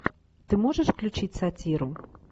ты можешь включить сатиру